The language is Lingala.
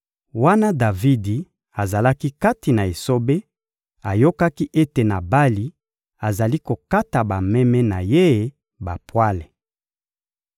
Wana Davidi azali kati na esobe, ayokaki ete Nabali azali kokata bameme na ye bapwale.